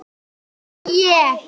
Ekki ég!